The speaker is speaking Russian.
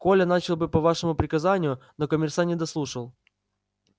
коля начал было по вашему приказанию но комиссар не дослушал